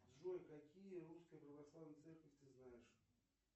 джой какие русские православные церкви ты знаешь